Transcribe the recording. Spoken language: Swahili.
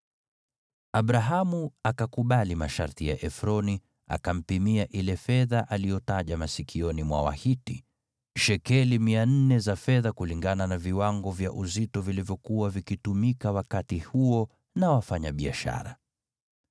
Abrahamu akakubali masharti ya Efroni, akampimia ile fedha aliyotaja masikioni mwa Wahiti: Shekeli 400 za fedha kulingana na viwango vya uzito vilivyokuwa vikitumika wakati huo na wafanyabiashara.